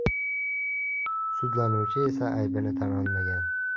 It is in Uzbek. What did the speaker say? Sudlanuvchi esa aybini tan olmagan.